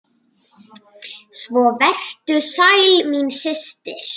Svo vertu sæl, mín systir!